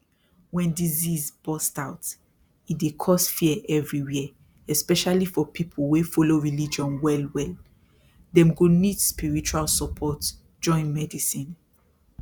when disease burst out e dey cause fear everywhere especially for people wey follow religion wellwell dem go need spiritual support join medicine